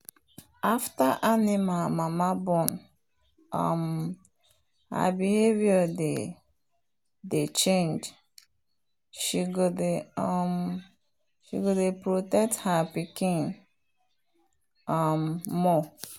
after animal mama born um her behavior dey dey change she go dey um protect her pikin um more.